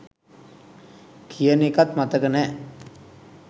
කියන එකත් මතක නෑ